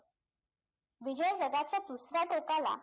विजय जगाच्या दुसऱ्या टोकाला